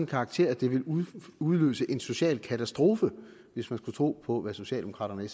karakter at det vil udløse en social katastrofe hvis man skulle tro på hvad socialdemokraterne og